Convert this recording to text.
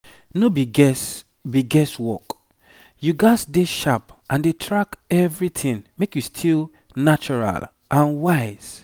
no be guess be guess work. you gats dey sharp and dey track everything make you still natural and wise